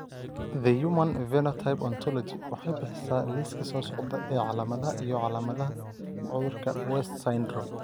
The Human Phenotype Ontology waxay bixisaa liiska soo socda ee calaamadaha iyo calaamadaha cudurka West syndrome.